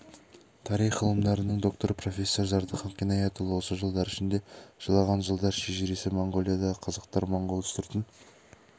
тарих ғылымдарының докторы профессор зардыхан қинаятұлы осы жылдар ішінде жылаған жылдар шежіресі моңғолиядағы қазақтар моңғол үстіртін